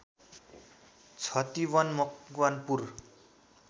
Chhatiwan Makwanpur